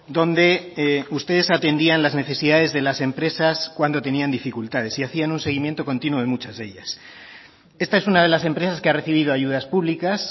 donde ustedes atendían las necesidades de las empresas cuando tenían dificultades y hacían un seguimiento continuo de muchas de ellas esta es una de las empresas que ha recibido ayudas públicas